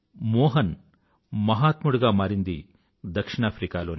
మోహన్ మహాత్ముడిగా మారింది దక్షిణాఫ్రికాలోనే